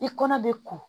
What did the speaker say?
I kɔnɔ bɛ ko